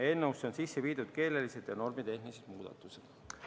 Eelnõusse on sisse viidud keelelised ja normitehnilised muudatused.